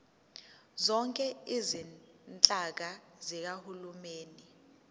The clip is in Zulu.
zonke izinhlaka zikahulumeni